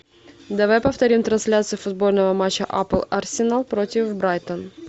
давай повторим трансляцию футбольного матча апл арсенал против брайтон